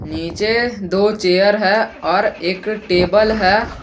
नीचे दो चेयर है और एक टेबल है।